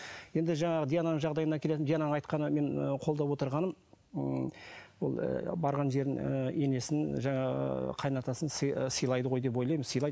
енді жаңағы диананың жағдайына келетін диананың айтқанын мен қолдап отырғаным ы ол барған жерін ы енесін жаңағы қайнатасын сыйлайды ғой деп ойлаймын сыйлайды